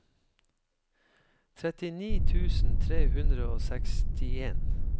trettini tusen tre hundre og sekstien